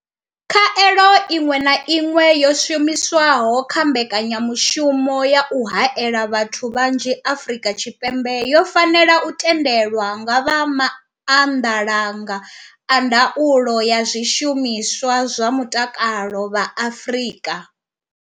Khaelo iṅwe na iṅwe yo shumiswaho kha mbekanya mushumo ya u haela vhathu vhanzhi Afrika Tshipembe yo fanela u tendelwa nga vha Maanḓalanga a Ndaulo ya Zwishumiswa zwa Mutakalo vha Afrika.